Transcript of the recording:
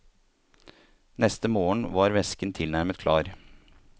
Neste morgen var væsken tilnærmet klar.